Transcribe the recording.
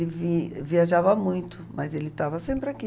E ele vi viajava muito, mas ele estava sempre aqui.